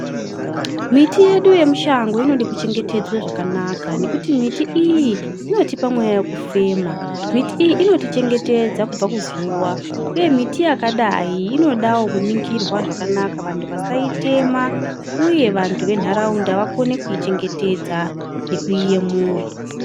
Miti yedu yemushango inodekuchengetedzwa zvakanaka nekuti miti iyi inotipa mweya vekufema. Miti iyi inotichengetsedza kubva kuzuva, uye miti yakadai inodavo kuningirwa zvakanaka vantu vasaitema, uye vantu ventaraunda vakone kuichengetedza nekuiyemura.